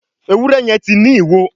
Ewúrẹ́ yen tí ní ìwo.